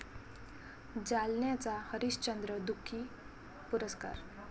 जालन्याचा हरिश्चंद्र दुखी पुरस्कार